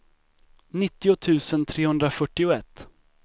nittio tusen trehundrafyrtioett